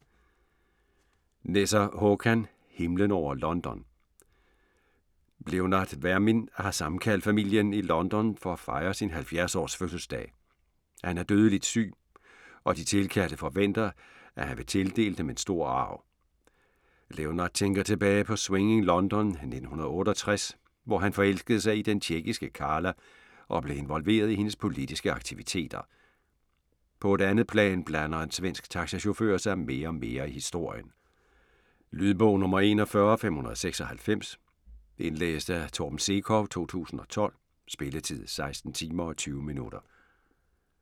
Nesser, Håkan: Himlen over London Leonard Vermin har sammenkaldt familien i London for at fejre sin 70-års fødselsdag. Han er dødeligt syg, og de tilkaldte forventer, at han vil tildele dem en stor arv. Leonard tænker tilbage på Swinging London 1968, hvor han forelskede sig i den tjekkiske Carla og blev involveret i hendes politiske aktiviteter. På et andet plan blander en svensk taxachauffør sig mere og mere i historien. Lydbog 41596 Indlæst af Torben Sekov, 2012. Spilletid: 16 timer, 20 minutter.